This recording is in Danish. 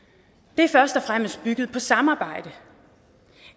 det er først og fremmest bygget på samarbejde et